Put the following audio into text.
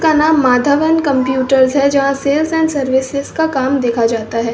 Kanha Madhavan and computer है जहां sales and services का काम देखा जाता है।